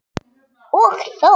Og þó?